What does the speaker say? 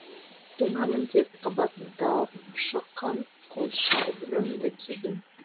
тоңамын деп қабаттап шыққан қос шалбырымды кидім